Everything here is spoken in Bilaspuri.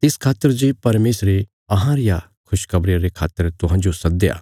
तिस खातर जे परमेशरे अहां रिया खुशखबरिया रे खातर तुहांजो सद्दया